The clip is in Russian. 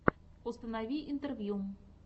установи интервью